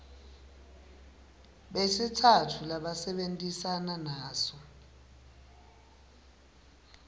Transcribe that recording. besitsatfu labasebentisana naso